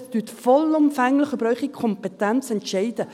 Entscheiden Sie vollumfänglich über Ihre Kompetenzen.